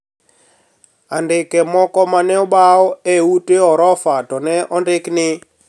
Andike moko ma ne obaw e ute orofa to ne ondiki ni